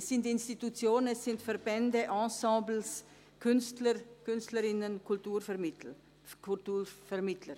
Es sind Institutionen, Verbände, Ensembles, Künstler und Künstlerinnen und Kulturvermittler.